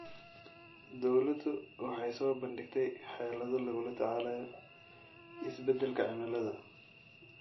Dawladdu waxay soo bandhigtay xeelado lagula tacaalayo isbeddelka cimilada.